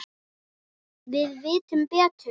Við vitum betur.